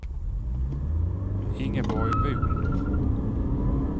Ingeborg Von